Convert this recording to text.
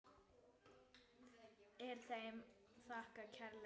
Er þeim þakkað kærlega fyrir.